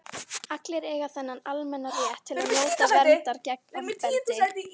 allir eiga þennan almenna rétt til að njóta verndar gegn ofbeldi